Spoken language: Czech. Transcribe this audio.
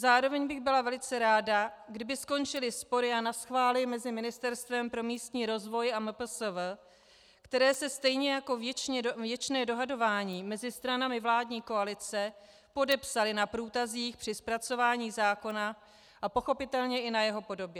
Zároveň bych byla velice ráda, kdyby skončily spory a naschvály mezi Ministerstvem pro místní rozvoj a MPSV, které se stejně jako věčné dohadování mezi stranami vládní koalice podepsaly na průtazích při zpracování zákona a pochopitelně i na jeho podobě.